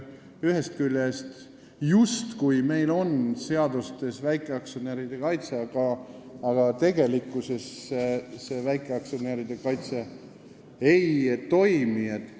Ühest küljest on meil seadustega väikeaktsionäride kaitse justkui tagatud, aga tegelikkuses see kaitse ei toimi.